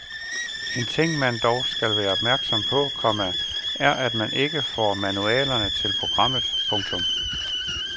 En ting man dog skal være opmærksom på, komma er at man ikke får manualerne til programmet. punktum